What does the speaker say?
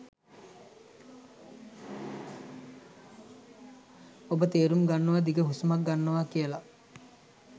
ඔබ තේරුම් ගන්නව දිග හුස්මක් ගන්නව කියල